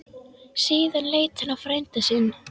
Síðan leit hann á frænda sinn.